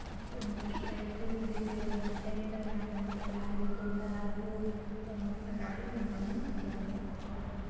Motorcycle repairing centre. यहाँ पे हम लोग कि गाड़ी में कोई खराबी हो तो हम अपना गाड़ी बनवाने जा सकते हैं।